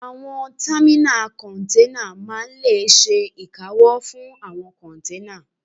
Àwọn támínà kọ́nténà máa n lè ṣe ìkáwọ́ fún àwọn kọ́nténà